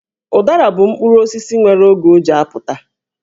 Ụdara bụ mkpụrụ osisi nwere oge o ji apụta.